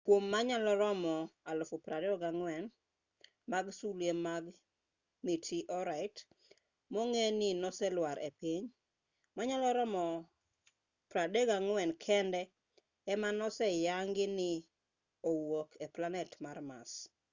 kuom manyalo romo 24,000 mag sulwe mag mitiorait mong'e ni noselwar e piny manyalo romo 34 kende ema oseyangi ni ne owuok e planet mar mars